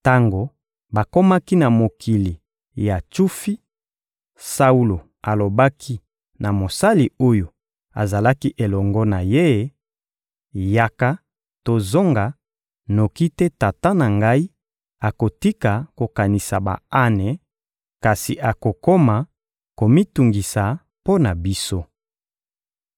Tango bakomaki na mokili ya Tsufi, Saulo alobaki na mosali oyo azalaki elongo na ye: — Yaka, tozonga; noki te tata na ngai akotika kokanisa ba-ane, kasi akokoma komitungisa mpo na biso.